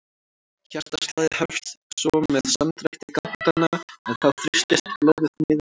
Hjartaslagið hefst svo með samdrætti gáttanna en þá þrýstist blóðið niður í hvolfin.